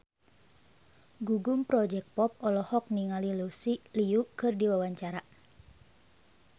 Gugum Project Pop olohok ningali Lucy Liu keur diwawancara